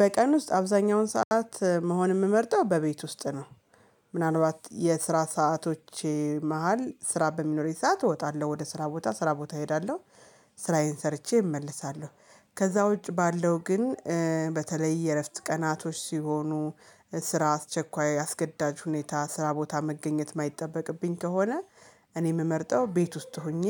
በቀን ውስጥ አብዛኛውን ሰዓት መሆን የምመርጠው በቤት ውስጥ ነው። ምናልባት የስራ ሰዓቶቼ መሃል ስራ በሚኖረኝ ሰዓት እወጣለሁ ወደ ስራ ቦታ ስራ ቦታ እሄዳለሁ። ስራዬን ሰርቼ እመለሳለሁ ከዛ ውጭ ባለው ግን። በተለይ የእረፍት ቀናቶች ሲሆኑ ስራ አስቸኳይ አስገዳጅ ሁኔታ ስራ ቦታ መገኘት የማይጠበቅብኝ ከሆነ። እኔ የምመርጠው ቤት ውስጥ ሆኜ